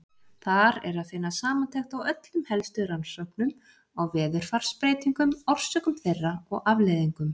Þar er að finna samantekt á öllum helstu rannsóknum á veðurfarsbreytingum, orsökum þeirra og afleiðingum.